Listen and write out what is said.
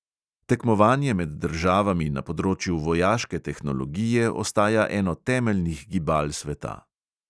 Tekmovanje med državami na področju vojaške tehnologije ostaja eno temeljnih gibal sveta.